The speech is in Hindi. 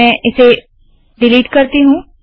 मैं इसे डिलीट करती हूँ